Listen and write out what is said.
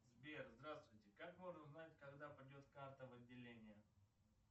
сбер здравствуйте как можно узнать когда придет карта в отделение